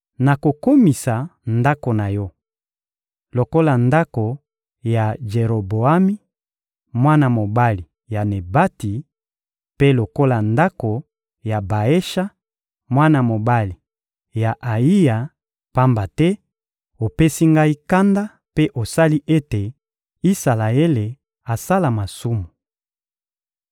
Nakokomisa ndako na yo lokola ndako ya Jeroboami, mwana mobali ya Nebati, mpe lokola ndako ya Baesha, mwana mobali ya Ayiya; pamba te opesi Ngai kanda mpe osali ete Isalaele asala masumu.»